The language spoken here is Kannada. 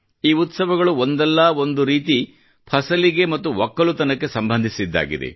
ಈ ಉತ್ಸವಗಳು ಒಂದಲ್ಲಾ ಒಂದು ರೀತಿ ಫಸಲಿಗೆ ಮತ್ತು ಒಕ್ಕಲುತನಕ್ಕೆ ಸಂಬಂಧಿಸಿದ್ದಾಗಿದೆ